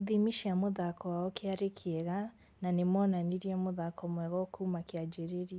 Ithimi cia mũthako wao kĩarĩ kĩega na nĩmonanirie mũthako mwega o kuma kĩanjĩrĩria